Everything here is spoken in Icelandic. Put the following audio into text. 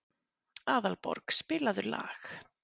Aðalborg, spilaðu lag.